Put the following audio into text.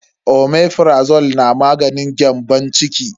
Omeprazole na maganin gyambon ciki ne.